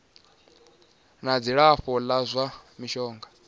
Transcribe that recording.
na dzilafho la zwa mishonga